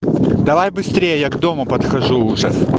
давай быстрее я к дому подхожу уже